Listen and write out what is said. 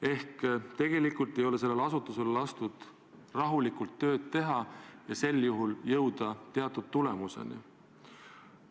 Ehk tegelikult ei ole sellel asutusel lastud rahulikult tööd teha ega jõuda teatud tulemuseni.